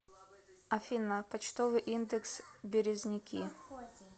афина почтовый индекс березники